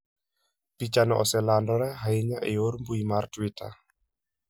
Pichano oselandore ahinya e yor mbuyi mar Twitter.